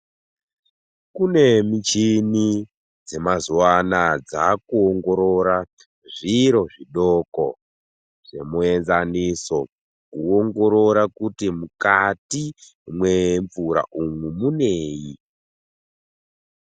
Kune michini dzemazuva anaya dzaaku ongorora zviro zvidoko semuyenzaniso kuongorora kuti mukati mwemvura umwu mwunei.